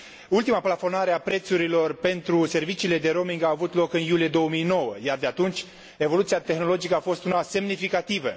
Ultima plafonare a prețurilor pentru serviciile de roaming a avut loc în iulie 2009, iar de atunci, evoluția tehnologică a fost una semnificativă.